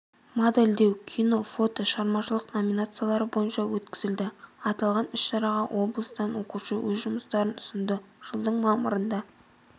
модельдеу кино-фото шығармашылық номинациялары бойынша өткізілді аталған іс-шараға облыстан оқушы өз жұмыстарын ұсынды жылдың мамырында